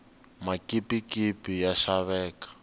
makipikipi ya xaveka